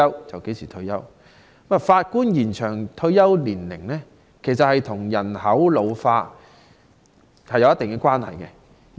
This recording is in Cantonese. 延展法官退休年齡與人口老化有一定關係。